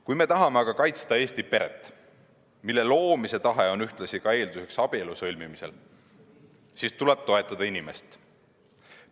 Kui me tahame kaitsta Eesti peret, mille loomise tahe on ühtlasi ka eelduseks abielu sõlmimisele, siis tuleb toetada inimest.